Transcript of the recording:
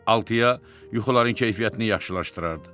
Altıya, yuxuların keyfiyyətini yaxşılaşdırardı.